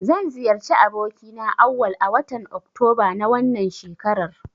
Zan ziyarci abokina Auwal a watan oktoba na wannan shekarar.